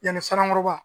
Yanni sankɔrɔba